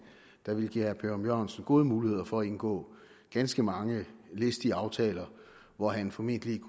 der vil give herre per ørum jørgensen gode muligheder for at indgå ganske mange listige aftaler hvor han formentlig